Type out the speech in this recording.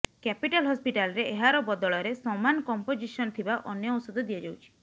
capital ହସ୍ପିଟାଲରେ ଏହାର ବଦଳରେ ସମାନ କମ୍ପୋଜିସନ୍ ଥିବା ଅନ୍ୟ ଔଷଧ ଦିଆଯାଉଛି